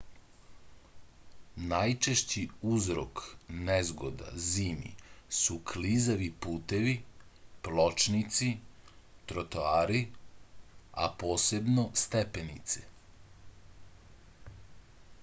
најчешћи узрок незгода зими су клизави путеви плочници тротоари а посебно степенице